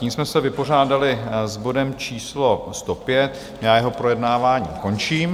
Tím jsme se vypořádali s bodem číslo 105, já jeho projednávání končím.